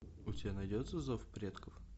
у тебя найдется зов предков